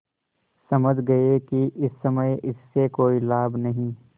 समझ गये कि इस समय इससे कोई लाभ नहीं